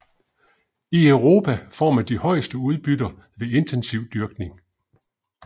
I Europa får man de højeste udbytter ved intensiv dyrkning